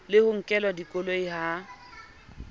le ho nkelwa dikoloi ha